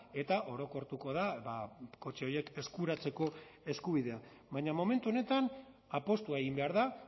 eta orokortuko da kotxe horiek eskuratzeko eskubidea baina momentu honetan apustua egin behar da